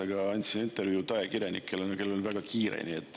Andsin siin kõrval intervjuud ajakirjanikele, kellel on väga kiire.